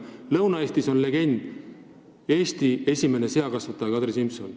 Lõuna-Eestis on legend "Eesti esimene seakasvataja Kadri Simson".